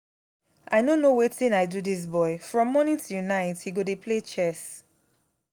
i no know wetin i do dis boy from morning till night he go dey play chess